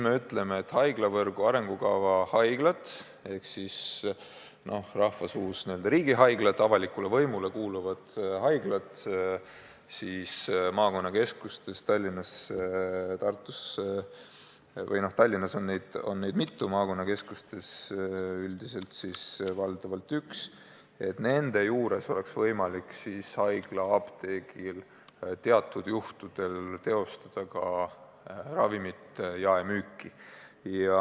Me ütleme, et haiglavõrgu arengukava haiglad ehk rahvasuus n-ö riigihaiglad, avalikule võimule kuuluvad haiglad maakonnakeskustes – Tallinnas on neid mitu, maakonnakeskustes valdavalt üks – võiksid teatud juhtudel oma apteekides teostada ka ravimite jaemüüki.